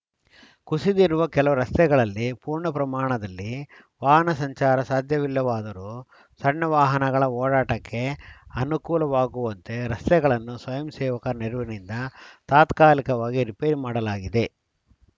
ಕುಸಿದಿರುವ ಕೆಲ ರಸ್ತೆಗಳಲ್ಲಿ ಪೂರ್ಣ ಪ್ರಮಾಣದಲ್ಲಿ ವಾಹನ ಸಂಚಾರ ಸಾಧ್ಯವಿಲ್ಲವಾದರೂ ಸಣ್ಣ ವಾಹನಗಳ ಓಡಾಟಕ್ಕೆ ಅನುಕೂಲವಾಗುವಂತೆ ರಸ್ತೆಗಳನ್ನು ಸ್ವಯಂ ಸೇವಕರ ನೆರವಿನಿಂದ ತಾತ್ಕಾಲಿಕವಾಗಿ ರಿಪೇರಿ ಮಾಡಲಾಗಿದೆ